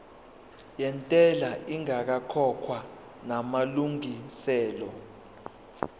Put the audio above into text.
yentela ingakakhokhwa namalungiselo